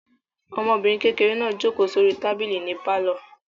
Ọmọbìnrin kékeré náà jókòó sórí tábìlì nínú pálọ̀.